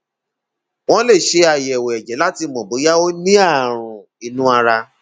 wọn lè ṣe àyẹwò ẹjẹ láti mọ bóyá ó ní ààrùn inú ara